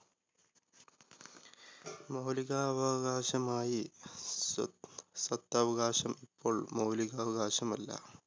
മൗലിക അവവകാശമായി സ്വ സ്വത്തവകാശം ഇപ്പോൾ മൗലിക അവകാശമല്ല.